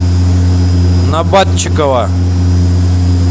набатчикова